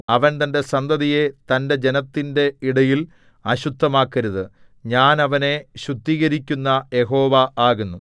അവൻ തന്റെ സന്തതിയെ തന്റെ ജനത്തിന്റെ ഇടയിൽ അശുദ്ധമാക്കരുത് ഞാൻ അവനെ ശുദ്ധീകരിക്കുന്ന യഹോവ ആകുന്നു